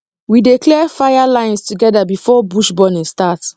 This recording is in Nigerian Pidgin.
we dey clear fire lines together before bush burning start